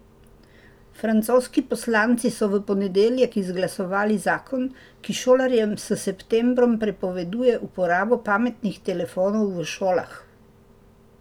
Francoski poslanci so v ponedeljek izglasovali zakon, ki šolarjem s septembrom prepoveduje uporabo pametnih telefonov v šolah.